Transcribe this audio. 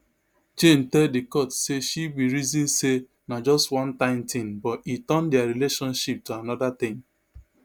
jane tell di court say she bin reason say na just one time tin but e turn dia relationship to anoda tin